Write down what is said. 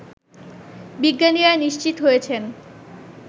বিজ্ঞানীরা নিশ্চিত হয়েছেন